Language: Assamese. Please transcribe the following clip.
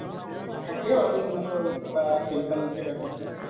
থাকে বাৰু ইহঁতৰ কিবা temple কেইটা থাকে